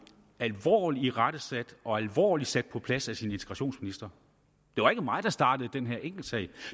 alvorlig irettesat og alvorlig sat på plads af sin integrationsminister det var ikke mig der startede den her enkeltsag